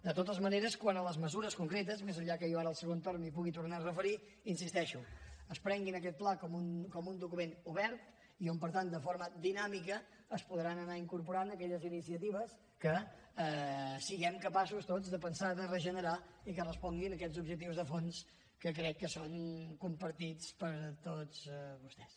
de totes maneres quant a les mesures concretes més enllà que jo ara al segon torn m’hi pugui tornar a referir hi insisteixo es prenguin aquest pla com un document obert i on per tant de forma dinàmica es podran anar incorporant aquelles iniciatives que siguem capaços tots de pensar de regenerar i que responguin a aquests objectius de fons que crec que són compartits per tots vostès